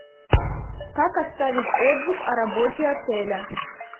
как оставить отзыв о работе отеля